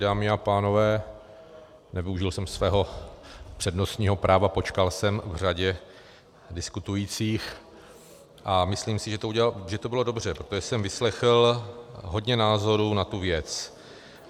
Dámy a pánové, nevyužil jsem svého přednostního práva, počkal jsem v řadě diskutujících a myslím si, že to bylo dobře, protože jsem vyslechl hodně názorů na tu věc.